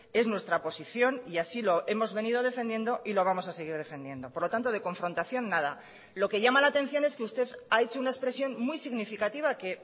es nuestra posición y así lo hemos venido defendiendo y lo vamos a seguir defendiendo por lo tanto de confrontación nada lo que llama la atención es que usted ha hecho una expresión muy significativa que